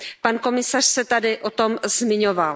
Pan komisař se tady o tom zmiňoval.